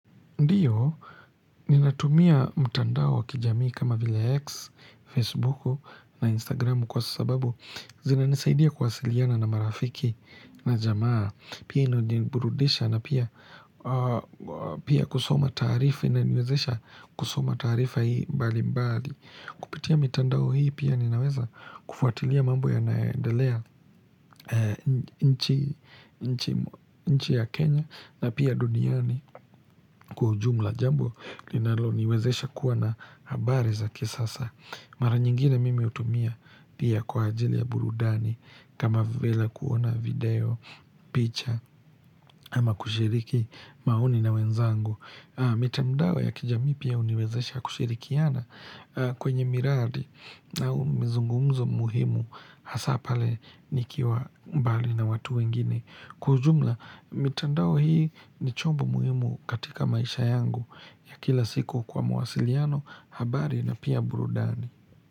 Ndiyo, ninatumia mtandao wakijamii kama vile X, Facebooku na Instagramu kwa sababu zina nisaidia kuwasiliana na marafiki na jamaa, pia inajiburudisha na pia kusoma taarifa. Inaniwezesha, kusoma taarifa hii mbali mbali. Kupitia mitandao hii pia ninaweza kufuatilia mambo yanayo endelea. Nchi ya Kenya na pia duniani kwa ujumla. Jambo linalo niwezesha kuwa na habari za kisasa. Mara nyingine mimi hutumia pia kwa ajili ya burudani kama vile, kuona video, picha ama kushiriki maoni na wenzangu. Mitandao ya kijamii pia huniwezesha kushirikiana kwenye miradi au mizungumzo muhimu, hasa pale nikiwa mbali na watu wengine. Kwa ujumla, mitandao hii ni chombo muhimu katika maisha yangu ya kila siku kwa mawasiliano, habari na pia burudani.